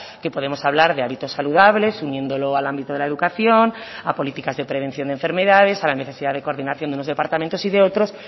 que podemos hablar de hábitos saludables uniéndolo al ámbito de la educación a políticas de prevención de enfermedades a la necesidad de coordinación de unos departamentos y de otros